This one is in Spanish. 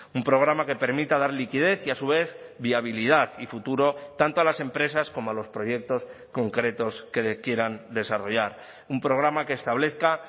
un programa que permita dar liquidez y a su vez viabilidad y futuro tanto a las empresas como a los proyectos concretos que quieran desarrollar un programa que establezca